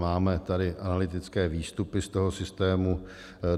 Máme tady analytické výstupy z toho systému.